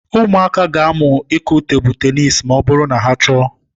Ụmụaka ga-amụ ịkụ tebụl tenis ma ọ bụrụ na ha chọọ.